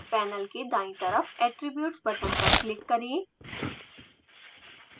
panel के दायीं तरफ attributes बटन पर क्लिक करें